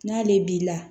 N'ale b'i la